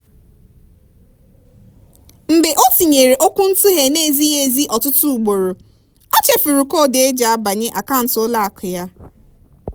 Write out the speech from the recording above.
mgbe o tinyere okwuntughe na-ezighị ezi ọtụtụ ugboro ochefuru koodu eji abanye akaụntụ ụlọakụ ya.